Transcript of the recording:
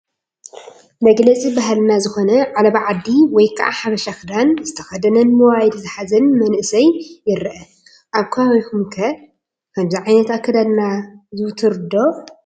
መግለፂ ባህልና ዝኾነ ዓለባ ዓዲ ወይ ከዓ ሓበሻ ክዳን ዝተኸደነን ሞባይል ዝሓዘን መንእሰይ ይርአ፡፡ ኣብ ከባቢኹም ኸ ከምዚ ዓይነት ኣከዳድና ዝውቱር ዶ?